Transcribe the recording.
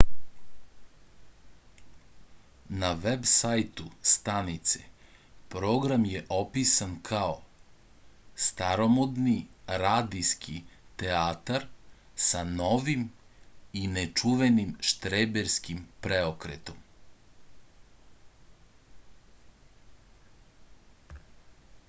na veb sajtu stanice program je opisan kao staromodni radijski teatar sa novim i nečuvenim štreberskim preokretom